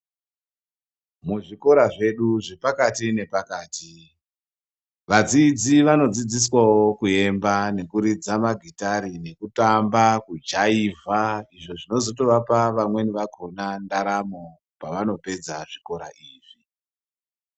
Muzvikora zvedu zvepakati- napakati. Vadzidzi vanodzidziswawo kuemba nekuridza magitare nekutamba, kujaivha izvo zvinozotovapa vamweni vakona ndaramo pevanopedza zvikora izvi.